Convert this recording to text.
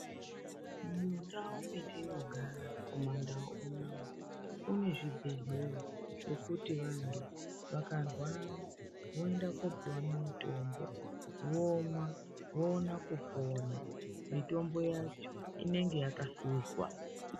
Mundau metinogara kumaNdau unoono kune zvibhehlera zvekuti vantu vakarwara voenda koopiwa mutombo vomwa, voona kupona. Mutombo yacho inenge yakahluzwa.